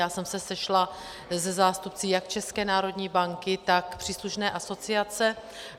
Já jsem se sešla se zástupci jak České národní banky, tak příslušné asociace.